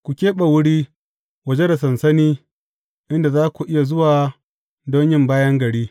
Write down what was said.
Ku keɓe wuri waje da sansani inda za ku iya zuwa don yin bayan gari.